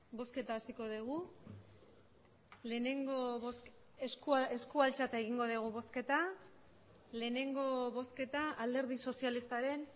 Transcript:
bosketa hasiko degu lehenengo bozk esku eskua altzata egingo degu bozketa lehenengo bozketa alderdi sozialistaren